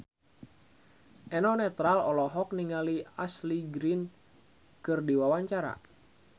Eno Netral olohok ningali Ashley Greene keur diwawancara